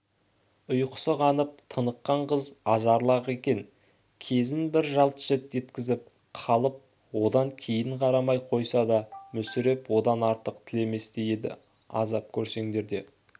ұйқысы қанып тыныққан қыз ажарлы-ақ екен кезін бір жалт еткізіп қалып одан кейін қарамай қойса да мүсіреп одан артықты тілеместей еді азап көрсеңдер де